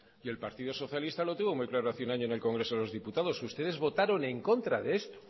y el partido socialista lo tuvo muy claro hace un año en el congreso de los diputados ustedes votaron en contra de esto